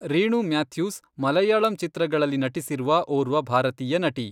ರೀಣು ಮ್ಯಾಥ್ಯೂಸ್ ಮಲಯಾಳಂ ಚಿತ್ರಗಳಲ್ಲಿ ನಟಿಸಿರುವ ಓರ್ವ ಭಾರತೀಯ ನಟಿ.